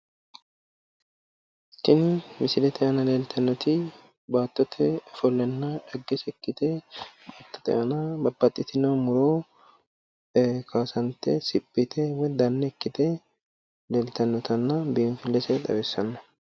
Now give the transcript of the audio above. Tinni misillete aanna laltanoti baattotte ofollonna xagese ikkite baattote aanna babbaxitino muro kaassante woyi siphi yite woyi danne ikkite leeltanottanna biinfilese xawissano